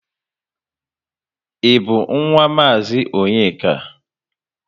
Ị bu nwa mazi Onyeka?